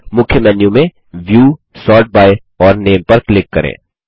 मुख्य मेन्यू में view sort by और नामे पर क्लिक करें